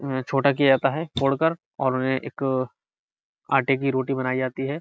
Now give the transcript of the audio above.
उन्हें छोटा किया जाता है तोड़कर और उन्हें एक आटे की रोटी बनाई जाती है।